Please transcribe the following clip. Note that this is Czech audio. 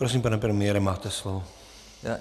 Prosím, pane premiére, máte slovo.